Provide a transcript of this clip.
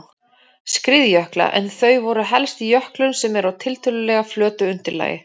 skriðjökla en þau verða helst í jöklum sem eru á tiltölulega flötu undirlagi.